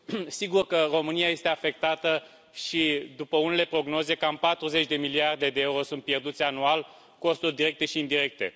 Sigur că România este afectată și, după unele prognoze, cam 40 de miliarde de euro sunt pierduți anual, costuri directe și indirecte.